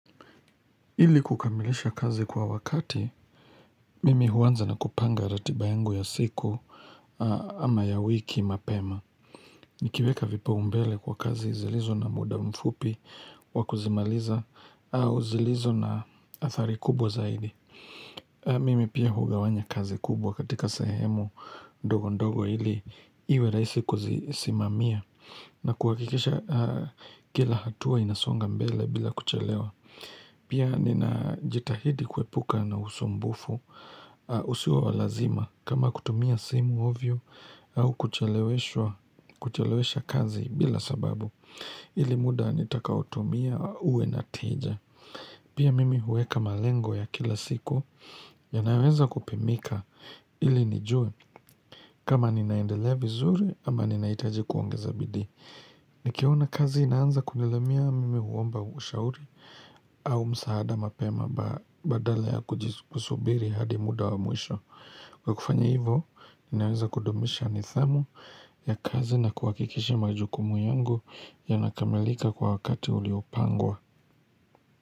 Ili kukamilisha kazi kwa wakati, mimi huanza na kupanga ratiba yangu ya siku ama ya wiki mapema. Nikiweka vipao mbele kwa kazi zilizo na muda mfupi wakuzimaliza au zilizo na athari kubwa zaidi. Mimi pia hugawanya kazi kubwa katika sehemu ndogo ndogo ili iwe rahisi kuzisimamia na kuhakikisha kila hatua inasonga mbele bila kuchelewa. Pia nina jitahidi kuepuka na usumbufu usio wa lazima kama kutumia simu ovyo au kucheleshwa kuchelewesha kazi bila sababu ili muda nitakao tumia uwe na teja. Pia mimi huweka malengo ya kila siku yanayoweza kupimika ili nijue kama ninaendelea vizuri ama ninahitaji kuongeza bidii. Nikiona kazi inaanza kunilemea mimi huomba ushauri au msaada mapema badala ya kusubiri hadi muda wa mwisho. Kwa kufanya hivo, ninaweza kudumisha nidhamu ya kazi na kuhakikisha majukumu yangu yanakamalika kwa wakati uliopangwa.